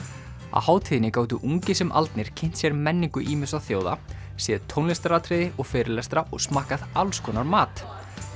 á hátíðinni gátu ungir sem aldnir kynnt sér menningu ýmissa þjóða séð tónlistaratriði og fyrirlestra og smakkað alls konar mat